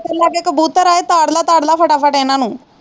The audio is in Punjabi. ਪਹਿਲਾਂ ਕਿ ਕਬੂਤਰ ਆਏ ਤਾੜ ਲੈ ਤਾੜ ਲੈ ਫੱਟਾ ਫੱਟ ਇਹਨਾਂ ਨੂੰ।